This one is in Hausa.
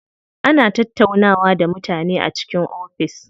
Ana tattaunawa da mutane a cikin ofis.